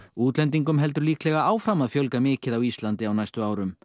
útlendingum heldur líklega áfram að fjölga mikið á Íslandi á næstu árum